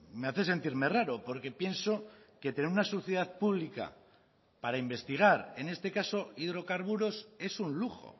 me hace sentirme raro porque pienso que tener una sociedad pública para investigar en este caso hidrocarburos es un lujo